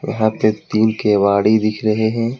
यहां पे तीन केवाड़ी दिख रहे है।